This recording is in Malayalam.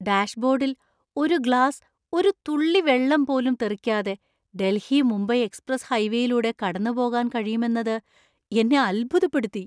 ഡാഷ്ബോർഡിൽ ഒരു ഗ്ലാസ് ഒരു തുള്ളി വെള്ളം പോലും തെറിക്കാതെ ഡൽഹി മുംബൈ എക്സ്പ്രസ് ഹൈവേയിലൂടെ കടന്നുപോകാൻ കഴിയുമെന്നത് എന്നെ അത്ഭുതപ്പെടുത്തി.